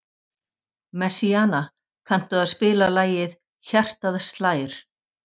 Messíana, kanntu að spila lagið „Hjartað slær“?